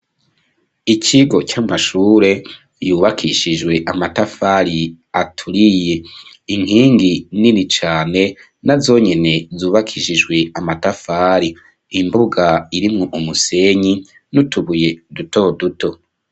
Ikigo c'amashure yubakishijwe amatafari aturiye. Inkingi nini cane na zonyine zubakishijwe amatafari imbuga irimo umusenyi nutubuye duto duto.